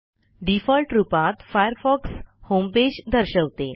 default रूपात Firefox homepage दर्शवते